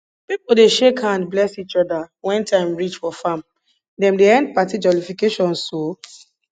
pipo dey shake hand bless each other wen time reach for farm dem dey end party jollification so